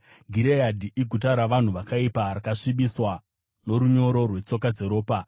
Gireadhi iguta ravarume vakaipa, rakasvibiswa norunyoro rwetsoka dzeropa.